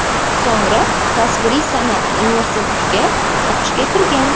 So‘ngra tasviriy san’at universitetiga o‘qishga kirgan.